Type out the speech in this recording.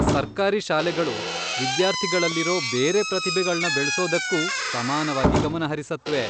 ಸರ್ಕಾರಿ ಶಾಲೆಗಳು ವಿದ್ಯಾರ್ಥಿಗಳಲ್ಲಿರೋ ಬೇರೆ ಪ್ರತಿಭೆಗಳ್ನ ಬೆಳ್ಸೋದಕ್ಕೂ ಸಮಾನವಾಗಿ ಗಮನಹರಿಸತ್ವೆ.